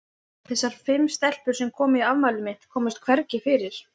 Þessar fimm stelpur, sem komu í afmælið mitt, komust hvergi fyrir.